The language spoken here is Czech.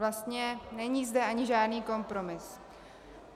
Vlastně zde není ani žádný kompromis.